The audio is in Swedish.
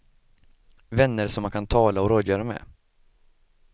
Vänner som man kan tala och rådgöra med.